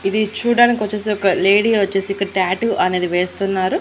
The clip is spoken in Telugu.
ఇది చూడ్డానికొచ్చేసి ఒక లేడీ వచ్చేసి ఇక్కడ టాటూ అనేది వేస్తున్నారు.